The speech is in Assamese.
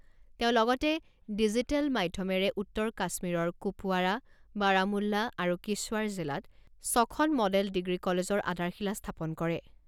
তেওঁ লগতে ডিজিটেল মাধ্যমেৰে উত্তৰ কাশ্মীৰৰ কুপৱাৰা, বাৰামুল্লা আৰু কিছৱাৰ জিলাত ছখন মডেল ডিগ্ৰী কলেজৰ আধাৰশিলা স্থাপন কৰে।